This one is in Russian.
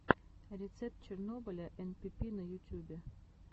рецепт чернобыля энпипи на ютюбе